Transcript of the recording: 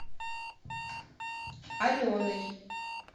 аленой